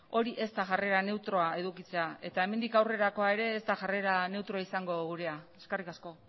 hori ez da jarrera neutroa edukitzea eta hemendik aurrerakoa ere ez da jarrera neutroa izango gurea eskerrik asko